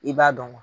I b'a dɔn